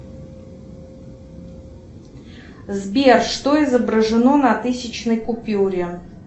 сбер что изображено на тысячной купюре